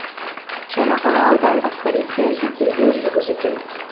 жаңақала аудандық полициясы тергеу жүргізуде